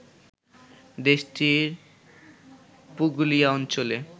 দেশটির পুগলিয়া অঞ্চলে